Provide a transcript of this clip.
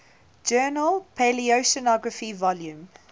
journal paleoceanography volume